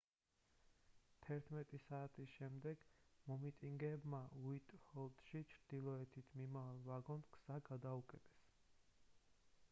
11:00 საათის შემდეგ მომიტინგეებმა უაიტჰოლში ჩრდილოეთით მიმავალ ვაგონს გზა გადაუკეტეს